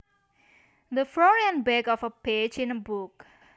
The front and back of a page in a book